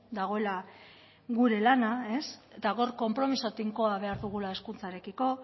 dagoela gure lana eta hor konpromisoa tinkoa behar dugula hezkuntzarekiko